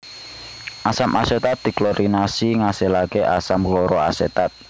Asam asetat diklorinasi ngasilake asam kloroasetat